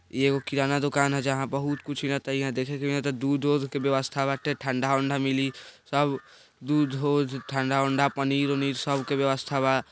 इ एगो किराना दुकान है जहां बहुत कुछ दूध ऊध के व्यवस्था बाटे ठंडा उन्डा मिली सब दूध हो ठंडा उन्डा पनीर उनिर सब के व्यवस्था बा।